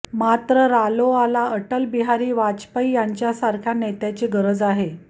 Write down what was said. मात्र रालोआला अटलबिहारी वाजपेयी यांच्यासारख्या नेत्याची गरज आहे